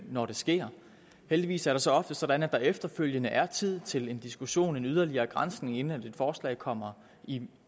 når det sker heldigvis er det så ofte sådan at der efterfølgende er tid til en diskussion til en yderligere granskning inden et forslag kommer i